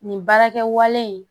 Nin baarakɛwale in